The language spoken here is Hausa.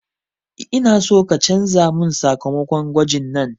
Ina so ka canza mun sakamakon gwajin nan